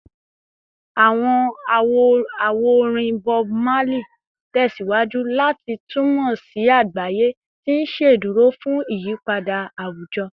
Awọn awo-orin Bob Marley tẹsiwaju lati tunmọ si agbaye, ti n ṣeduro fun iyipada awujọ